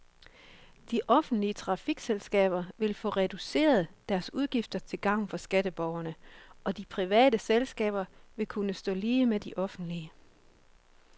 De offentlige trafikselskaber vil få reduceret deres udgifter til gavn for skatteborgerne, og de private selskaber vil kunne stå lige med de offentlige.